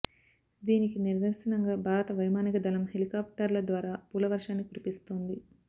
దీనికి నిదర్శనంగా భారత వైమానిక దళం హెలికాప్టర్ల ద్వారా పూల వర్షాన్ని కురిపిస్తోంది